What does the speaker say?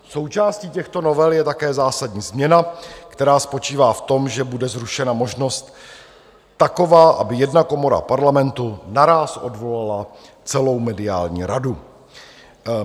Součástí těchto novel je také zásadní změna, která spočívá v tom, že bude zrušena možnost taková, aby jedna komora Parlamentu naráz odvolala celou mediální radu.